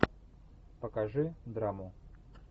покажи драму